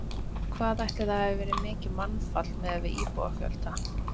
Hvað ætli það hafi verið mikið mannfall miðað við íbúafjölda?